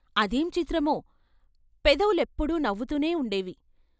అదేం చిత్రమో పెదవులెప్పుడూ నవ్వుతూనే ఉండేవి.